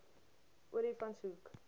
olifantshoek